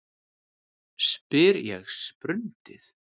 spyr ég sprundið.